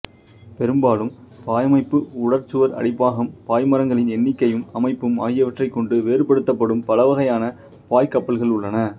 பெரும்பாலும் பாயமைப்பு உடற்சுவர் அடிப்பாகம் பாய்மரங்களின் எண்ணிக்கையும் அமைப்பும் ஆகியவற்றைக் கொண்டு வேறுபடுத்தப்படும் பலவகையான பாய்க் கப்பல்கள் உள்ளன